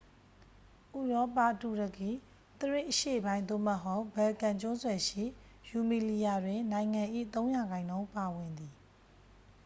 ဥရောပ တူရကီ သရေ့ အရှေ့ပိုင်း သို့မဟုတ် ဘယ်လ်ကန် ကျွန်းဆွယ်ရှိ ရူမီလီယာ တွင် နိုင်ငံ၏ ၃% ပါဝင်သည်။